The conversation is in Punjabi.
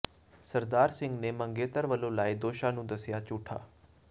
ਸਰਦਾਰ ਸਿੰਘ ਨੇ ਮੰਗੇਤਰ ਵਲੋਂ ਲਾਏ ਦੋਸ਼ਾਂ ਨੂੰ ਦੱਸਿਆ ਝੂਠਾ